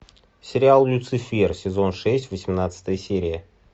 сериал люцифер сезон шесть восемнадцатая серия